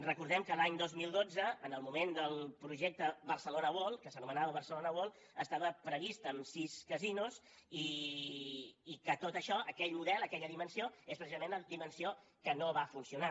recordem que l’any dos mil dotze en el moment del projecte barcelona world que s’anomenava barcelona world estava previst amb sis casinos i que tot això aquell model aquella dimensió és precisament la dimensió que no va funcionar